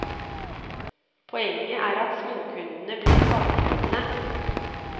Poenget er at småkundene blir skadelidende.